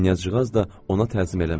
Knyazcığaz da ona təzim eləmədi.